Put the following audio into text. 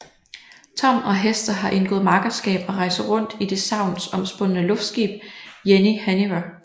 Tom og Hester har indgået makkerskab og rejser rundt i det sagnomspundne luftskib Jenny Hanniver